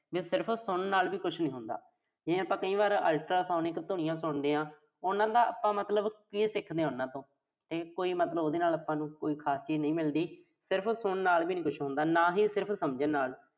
ਜਿਵੇਂ ਸਿਰਫ ਸੁਣਨ ਨਾਲ ਵੀ ਕੁਸ਼ ਨੀਂ ਹੁੰਦਾ। ਜਿਵੇਂ ਆਪਾਂ ਕਈ ਵਾਰ ultrasonic ਧੁਨੀਆਂ ਸੁਣਦੇ ਆਂ। ਉਨ੍ਹਾਂ ਦਾ ਆਪਾਂ ਮਤਲਬ ਕੀ ਸਿੱਖਦੇ ਆਂ ਉਨ੍ਹਾਂ ਤੋਂ। ਕੋਈ ਉਹਦੇ ਨਾਲ ਮਤਲਬ ਆਪਾਂ ਨੂੰ ਕੋਈ ਖਾਸ ਚੀਜ਼ ਨਹੀਂ ਮਿਲਦੀ। ਸਿਰਫ਼ ਸੁਣਨ ਨਾਲ ਵੀ ਨੀਂ ਕੁਸ਼ ਹੁੰਦਾ। ਨਾ ਹੀ ਸਿਰਫ਼ ਸਮਝਣ ਨਾਲ।